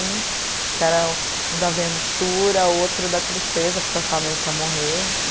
Um que era o o da aventura, outro da tristeza, porque eu achava mesmo que ia morrer.